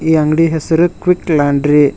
ಈ ಅಂಗಡಿ ಹೆಸರು ಕ್ವಿಕ್ ಲಾಂಡ್ರಿ .